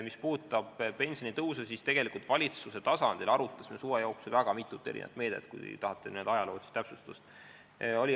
Mis puudutab pensionitõusu, siis me valitsuse tasandil arutasime suve jooksul väga mitut meedet, kui te tahate n-ö ajaloolist täpsustust.